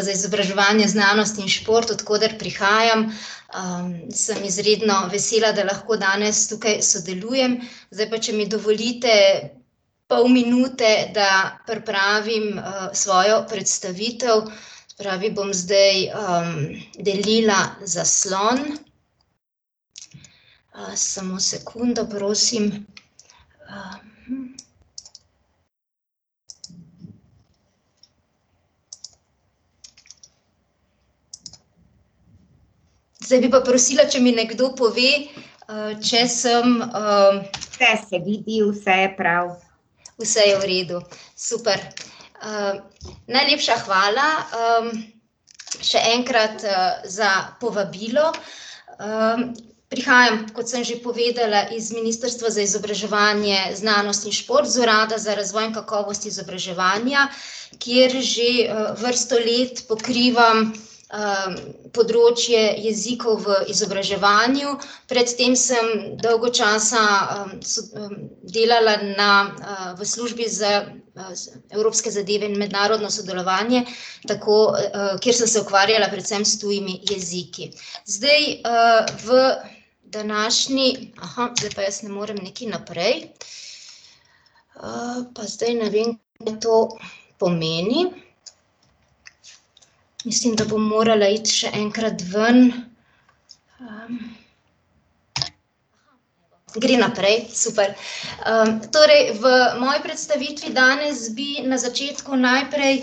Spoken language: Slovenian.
za izobraževanje, znanost in šport, od koder prihajam, sem izredno vesela, da lahko danes tukaj sodelujem, zdaj pa če mi dovolite, pol minute, da pripravim svojo predstavitev, se pravi, bom zdaj, delila zaslon. samo sekundo, prosim. Zdaj bi pa prosila, če mi nekdo pove, če sem, ... Vse se vidi, vse je prav. Vse je v redu. Super. najlepša hvala, še enkrat, za povabilo. prihajam, kot sem že povedala, iz Ministrstva za izobraževanje, znanost in šport, z Urada za razvoj in kakovost izobraževanja, kjer že, vrsto let pokrivam področje jezikov v izobraževanju, pred tem sem dolgo časa, delala na, v Službi za, evropske zadeve in mednarodno sodelovanje, tako, kjer sem se ukvarjala predvsem s tujimi jeziki. Zdaj, v današnji ... zdaj pa jaz ne morem nekaj naprej. pa zdaj ne vem, mi to pomeni. Mislim, da bom morala iti še enkrat ven. ... Gre naprej, super. torej v moji predstavitvi danes bi na začetku najprej ,